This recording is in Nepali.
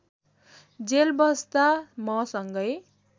जेल बस्दा मसँगै